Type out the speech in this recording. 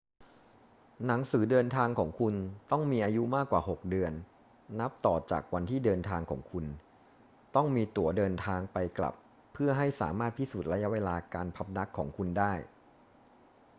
หนังสือเดินทางของคุณต้องมีอายุมากกว่า 6 เดือนนับต่อจากวันที่เดินทางของคุณ ต้องมีตั๋วเดินทางไป-กลับเพื่อให้สามารถพิสูจน์ระยะเวลาการพำนักของคุณได้